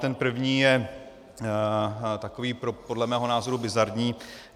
Ten první je takový podle mého názoru bizarní.